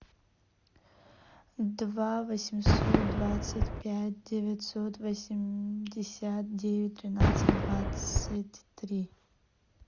два восемьсот двадцать пять девятьсот восемьдесят девять тринадцать двадцать три